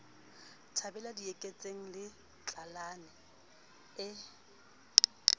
thabela dieketseng le tlalane e